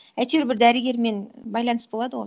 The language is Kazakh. әйтеуір бір дәрігермен байланыс болады ғой